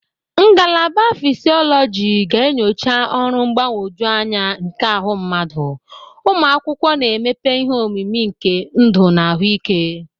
Ngalaba fishiologi ga-enyocha ọrụ mgbagwoju anya nke ahụ mmadụ, ụmụ akwụkwọ na-emepe ihe omimi nke ndụ na ahụike.